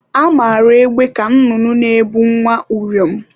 Amara egbe ka nnụnụ na-ebu nwa uriom.